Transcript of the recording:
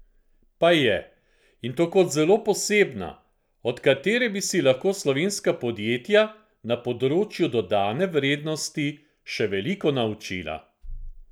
Pa je, in to kot zelo posebna, od katere bi si lahko slovenska podjetja na področju dodane vrednosti še veliko naučila!